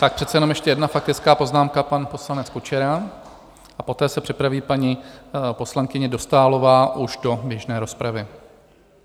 Tak přece jenom ještě jedna faktická poznámka - pan poslanec Kučera a poté se připraví paní poslankyně Dostálová už do běžné rozpravy.